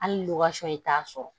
Hali ni t'a sɔrɔ